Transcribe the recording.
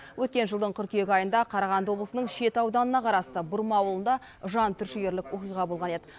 өткен жылдың қыркүйек айында қарағанды облысының шет ауданына қарасты бұрма ауылында жан түршігерлік оқиға болған еді